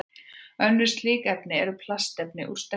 Önnur slík efni eru plastefni úr sterkju.